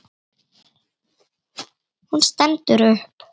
Hún stendur upp.